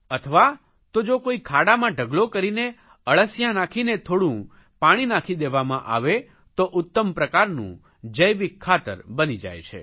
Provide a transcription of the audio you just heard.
અથવા તો જો કોઇ ખાડામાં ઢગલો કરીને અળસિયાં નાખીને થોડું પાણી નાખી દેવામાં આવે તો ઉત્તમ પ્રકારનું જૈવિક ખાતર બની જાય છે